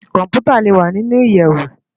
Kòmpútá lé wá ninú iyèwó